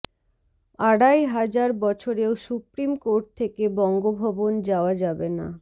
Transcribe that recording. আড়াই হাজার বছরেও সুপ্রিম কোর্ট থেকে বঙ্গভবন যাওয়া যাবে না